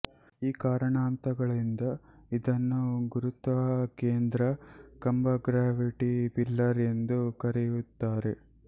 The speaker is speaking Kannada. ಈ ಕಾರಣಾಂತರಗಳಿಂದ ಇದನ್ನು ಗುರುತ್ವಾಕೇಂದ್ರ ಕಂಬಗ್ರಾವಿಟಿ ಪಿಲ್ಲರ್ ಎಂದು ಕರೆಯುತ್ತಾರೆ